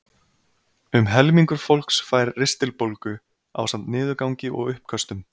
Um helmingur fólks fær ristilbólgu ásamt niðurgangi og uppköstum.